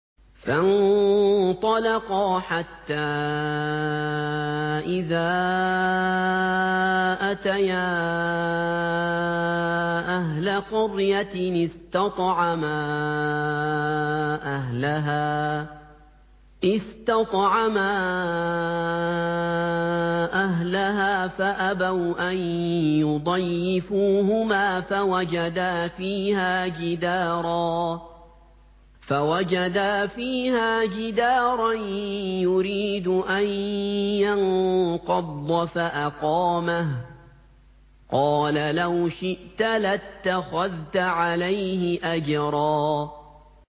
فَانطَلَقَا حَتَّىٰ إِذَا أَتَيَا أَهْلَ قَرْيَةٍ اسْتَطْعَمَا أَهْلَهَا فَأَبَوْا أَن يُضَيِّفُوهُمَا فَوَجَدَا فِيهَا جِدَارًا يُرِيدُ أَن يَنقَضَّ فَأَقَامَهُ ۖ قَالَ لَوْ شِئْتَ لَاتَّخَذْتَ عَلَيْهِ أَجْرًا